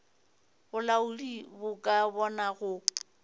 bolaodi bo ka bona go